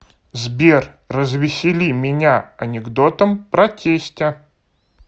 сбер развесели меня анекдотом про тестя